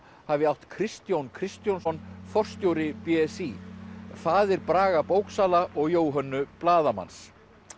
hafi átt Kristjón Kristjónsson forstjóri b s í faðir Braga bóksala og Jóhönnu blaðamanns